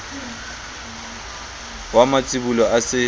wa matsibolo a se a